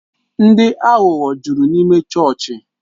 Ndị aghụghọ jụrụ n'ịme chọọchị